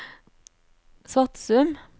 Svatsum